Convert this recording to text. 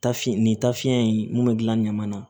Tafe nin tafiɲɛ in mun be gilan ɲama na